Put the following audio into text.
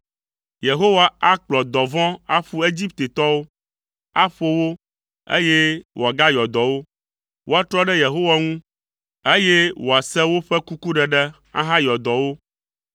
Yehowa akplɔ dɔvɔ̃ aƒu Egiptetɔwo; aƒo wo, eye wòagayɔ dɔ wo. Woatrɔ ɖe Yehowa ŋu, eye wòase woƒe kukuɖeɖe ahayɔ dɔ wo.